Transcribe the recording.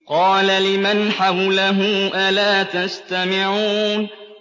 قَالَ لِمَنْ حَوْلَهُ أَلَا تَسْتَمِعُونَ